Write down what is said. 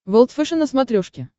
волд фэшен на смотрешке